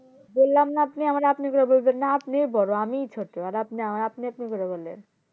বললাম না আপনি আমারে আপনি আপনি কইরা বলবেন না আপনিই বোরো আমিই ছোটো আর আপনি আমারে আপনি আপনি করে বলবেন